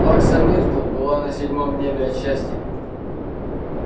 плакса миртл была на седьмом небе от счастья